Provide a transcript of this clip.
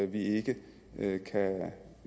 vi ikke